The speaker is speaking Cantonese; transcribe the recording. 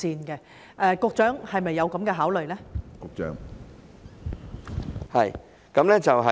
局長，是否有這樣的考慮呢？